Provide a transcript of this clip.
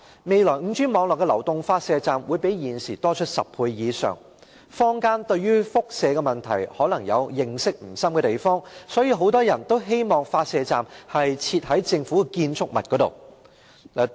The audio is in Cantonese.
未來 5G 網絡的流動發射站會比現時多出10倍以上，坊間對於輻射問題可能認識不深，故此很多人都希望發射站會設置於政府建築物內。